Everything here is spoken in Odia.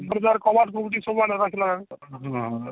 ହଁ